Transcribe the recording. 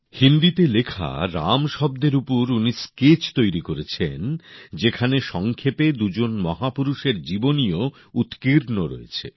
হিন্দীতে লেখা রাম শব্দের উপর উনি স্কেচ তৈরি করেছেন যেখানে সংক্ষেপে দুজন মহাপুরুষের জীবনীও উৎকীর্ণ রয়েছে